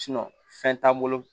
fɛn t'an bolo